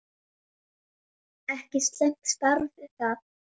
Ekki slæmt starf það!